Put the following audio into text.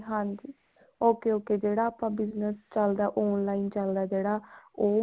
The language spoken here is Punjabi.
ਹਾਂਜੀ okay okay ਜਿਹੜਾ ਆਪਣਾ business ਚੱਲਦਾ online ਚੱਲਦਾ ਜਿਹੜਾ ਉਹ